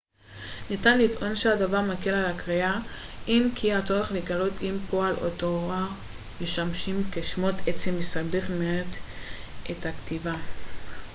ניתן לטעון שהדבר מקל על הקריאה אם כי הצורך לגלות אם פועל או תואר משמשים כשמות עצם מסבך מעט את הכתיבה